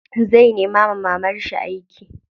Zai nema wa mamarshi aiki.